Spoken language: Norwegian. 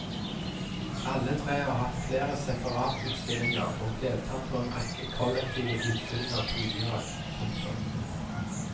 Alle tre har hatt flere separatutstillinger og deltatt på en rekke kollektiv utstillinger tidligere. punktum